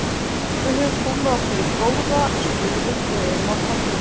Við höfum komið okkur í góða stöðu og erum á toppnum.